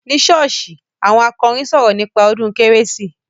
Ní ṣọ́ọ́ṣì, àwọn akọrin sọ̀rọ̀ nípa ọdún kérésì.